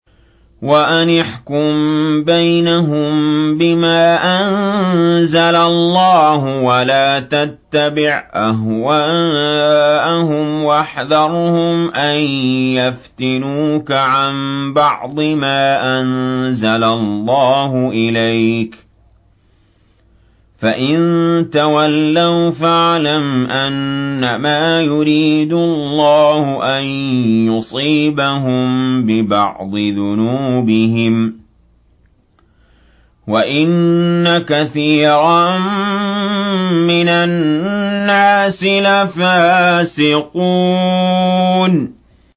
وَأَنِ احْكُم بَيْنَهُم بِمَا أَنزَلَ اللَّهُ وَلَا تَتَّبِعْ أَهْوَاءَهُمْ وَاحْذَرْهُمْ أَن يَفْتِنُوكَ عَن بَعْضِ مَا أَنزَلَ اللَّهُ إِلَيْكَ ۖ فَإِن تَوَلَّوْا فَاعْلَمْ أَنَّمَا يُرِيدُ اللَّهُ أَن يُصِيبَهُم بِبَعْضِ ذُنُوبِهِمْ ۗ وَإِنَّ كَثِيرًا مِّنَ النَّاسِ لَفَاسِقُونَ